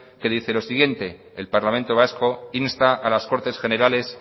que dice lo siguiente el parlamento vasco insta a las cortes generales